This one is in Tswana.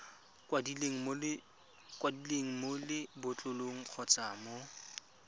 kwadilweng mo lebotlolong kgotsa mo